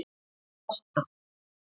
Lotta